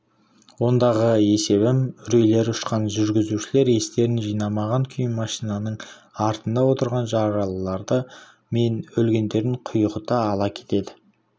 ондағы есебім үрейлері ұшқан жүргізушілер естерін жинамаған күйі машинаның артында отырған жаралылары мен өлгендерін құйғыта ала кетеді